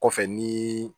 Kɔfɛ ni